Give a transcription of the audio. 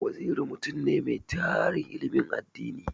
Waziri mutum ne mai tarin ilimin addini.